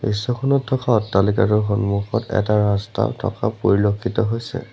দৃশ্যখনত থকা অট্টালিকাটোৰ সন্মুখত এটা ৰাস্তাও থকা পৰিলক্ষিত হৈছে।